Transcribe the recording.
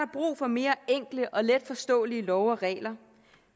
brug for mere enkle og letforståelige love og regler